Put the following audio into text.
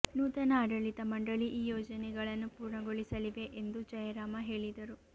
ನೂತನ ಆಡಳಿತ ಮಂಡಳಿ ಈ ಯೋಜನೆಗಳನ್ನು ಪೂರ್ಣಗೊಳಿಸಲಿವೆ ಎಂದು ಜಯರಾಮ ಹೇಳಿದರು